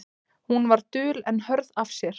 Hún var dul en hörð af sér.